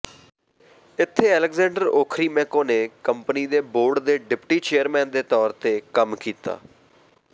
ਇੱਥੇ Alexander Okhrimenko ਨੇ company ਦੇ ਬੋਰਡ ਦੇ ਡਿਪਟੀ ਚੇਅਰਮੈਨ ਦੇ ਤੌਰ ਤੇ ਕੰਮ ਕੀਤਾ